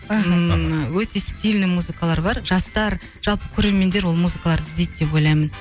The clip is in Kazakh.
мхм өте стильный музыкалар бар жастар жалпы көрермендер ол музыкаларды іздейді деп ойлаймын